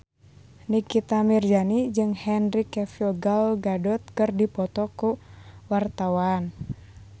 Nikita Mirzani jeung Henry Cavill Gal Gadot keur dipoto ku wartawan